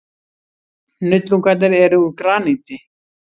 Hnullungarnir eru úr graníti.